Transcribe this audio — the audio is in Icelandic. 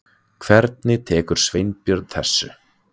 Hvernig tekur Sveinbjörn þessu?